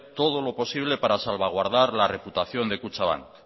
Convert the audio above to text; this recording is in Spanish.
todo lo posible para salvaguardar la reputación de kutxabank